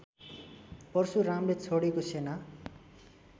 परशुरामले छोडेको सेना